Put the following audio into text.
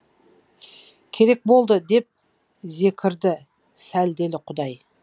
керек болды деп зекірді сәлделі құдай